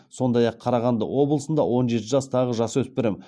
сондай ақ қарағанды облысында он жеті жастағы жасөспірім